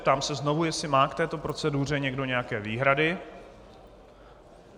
Ptám se znovu, jestli má k této proceduře někdo nějaké výhrady.